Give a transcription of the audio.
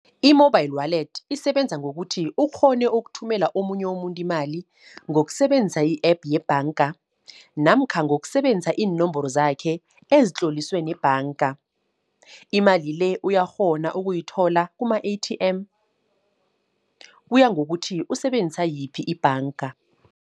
I-mobile wallet, isebenza ngokuthi ukghone ukuthumela omunye umuntu imali, ngokusebenzisa i-app yebhanga. Namkha ngokusebenzisa iinomboro zakhe ezitloliswe nebhanga. Imali le, uyakghona ukuyithola kuma-A_T_M kuya ngokuthi usebenzisa yiphi ibhanga.